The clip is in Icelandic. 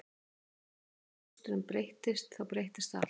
Ég hélt að ef pósturinn breyttist þá breyttist allt